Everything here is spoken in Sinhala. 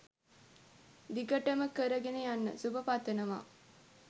දිගටම කරගන යන්න සුබ පතනවා.